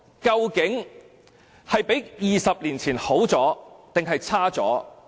究竟香港比20年前更好還是更差？